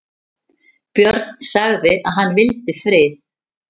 Björn sagði að hann vildi frið.